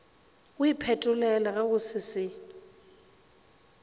o iphetolele go se se